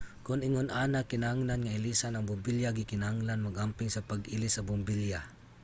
kon ingon ana kinahanglan nga ilisan ang bombilya. gikinahanglang mag-amping sa pag-ilis sa bombilya